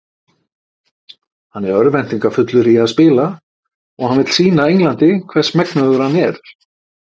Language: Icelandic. Hann er örvæntingarfullur í að spila og hann vill sýna Englandi hvers megnugur hann er.